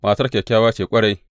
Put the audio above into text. Matar kyakkyawa ce ƙwarai.